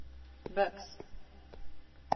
buks